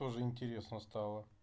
тоже интересно стало